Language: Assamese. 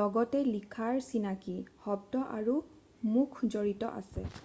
লগতে লিখাৰ চিনাকি শব্দ আৰু মুখ জড়িত আছে ।""